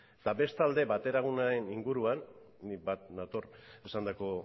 eta bestalde bateragunearen inguruan ni bat nator esandako